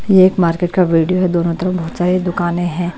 यह एक मार्केट का वीडियो है दोनों तरफ बहुत सारी दुकानें हैं।